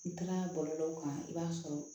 N taara bɔlɔlɔw kan i b'a sɔrɔ